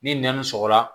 Ni nɛn sɔgɔla